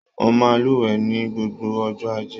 Mo máa n luwẹ̀ ní gbogbo ọjọ́ ajé.